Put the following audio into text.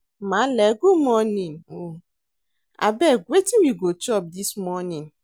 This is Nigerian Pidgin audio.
Maale good morning o, abeg wetin we go chop dis morning?